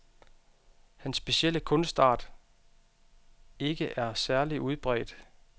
Hans specielle kunstart ikke er særlig udbredt.